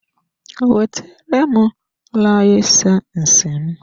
Wetere m layisensi m!